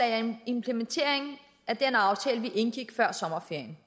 er en implementering af den aftale vi indgik før sommerferien